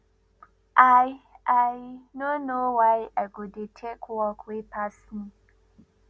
i i no know why i go dey take work wey pass me